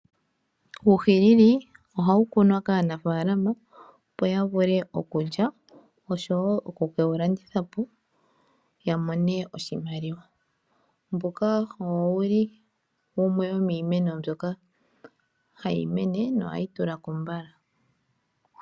Uuhinini ohawu kunwa kaanafaalama opo ya vule okuwu lya oshowo oku kewu landitha po ya mone oshimaliwa. Mbuka owo wuli yimwe yomiimeno mbyoka hayi mene nohayi tula ko mbala.